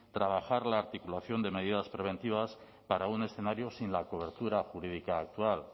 trabajar la articulación de medidas preventivas para un escenario sin la cobertura jurídica actual